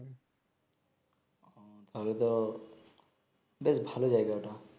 তাইলে তো বেশ ভালো জায়গা ঐ টা